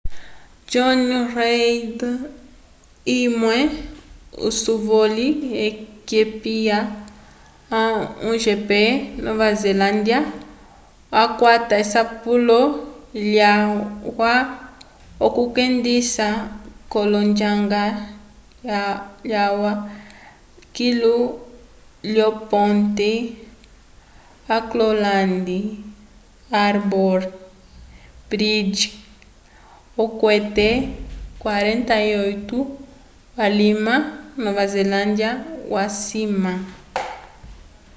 jonny reid umwe usovoli wekipa a1gp nova zelândia yakwata esapulo lyalwa k'okwendisa l'onjanga yalwa kilu lyoponte auckland harbour bridge okwete 48 k'alima nova zelândia waciwamw